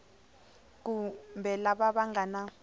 kumbe lava va nga na